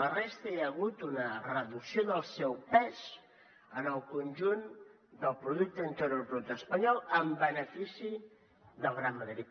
la resta hi ha hagut una reducció del seu pes en el conjunt del producte interior brut espanyol en benefici del gran madrid